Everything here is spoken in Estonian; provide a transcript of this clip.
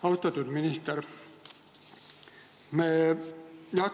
Austatud minister!